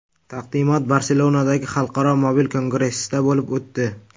Taqdimot Barselonadagi Xalqaro mobil kongressda bo‘lib o‘tdi.